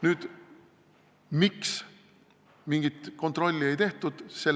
Nüüd, miks mingit kontrolli ei tehtud?